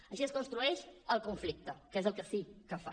així es construeix el conflicte que és el que sí que fan